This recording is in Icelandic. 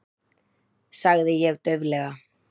sagði ég dauflega.